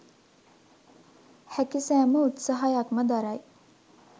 හැකි සැම උත්සාහයක් ම දරයි.